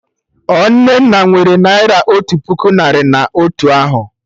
Ọ Nnenna nwere Naira otu puku narị na otu ahụ